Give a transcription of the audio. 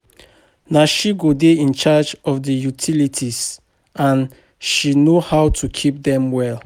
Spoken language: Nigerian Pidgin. Na she go dey in charge of the utilities and she no how to keep dem well